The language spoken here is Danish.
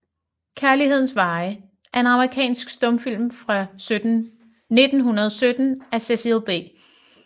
Kærlighedens Veje er en amerikansk stumfilm fra 1917 af Cecil B